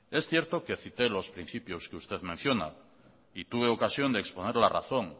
es cierto que cité los principios que usted menciona y tuve ocasión de exponer la razón